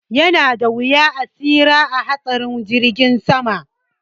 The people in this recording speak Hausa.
Yanada wuya a tsira a hatsarin jirgin sama